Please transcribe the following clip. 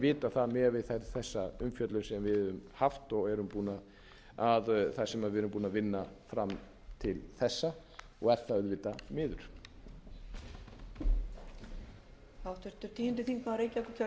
vitað það miðað við þessa umfjöllun sem við höfum haft og það sem við erum búin að vinna fram til þessa og er það auðvitað miður